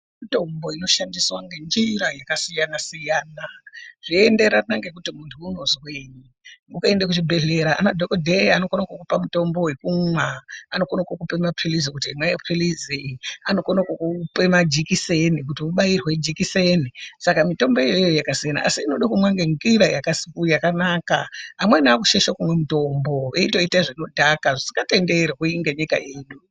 Mitombo inoshandiswa nenjira yakasiyana siyana zveienderana ngekuti muntu unozwei ukaenda kuchibhehlera anadhokodheya anokona kukupai mutombo wekumwa nokona kukupai mapilizi anokona kukupa majekiseni saka mitomboyo yakasiyana asi mitomboyo inoda kumwa ngenjira yakanaka amweni akushaisha kumwa mitombo veitoita zvinodhaka zvisingatenderwi nenyika ino.